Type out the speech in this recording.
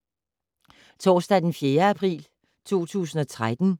Torsdag d. 4. april 2013